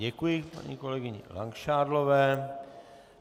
Děkuji paní kolegyni Langšádlové.